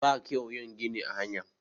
ba kyau yin gini a hanya